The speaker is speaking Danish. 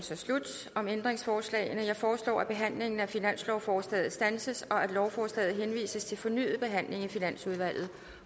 om ændringsforslagene slut jeg foreslår at behandlingen af finanslovsforslaget standses og at lovforslaget henvises til fornyet behandling i finansudvalget